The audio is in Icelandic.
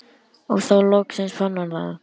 Og þá loksins fann hann það.